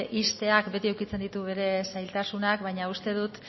ixteak beti edukitzen ditu bere zailtasunak baina uste dut